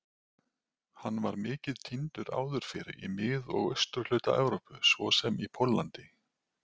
Hann var mikið tíndur áður fyrr í mið- og austurhluta Evrópu svo sem í Póllandi.